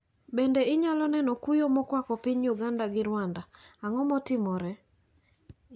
Bende inyalo neno kuyo mokwako piny Uganda to gi Rwanda, ang`o matimore?